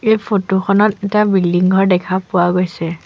এই ফটো খনত এটা বিল্ডিং ঘৰ দেখা পোৱা গৈছে।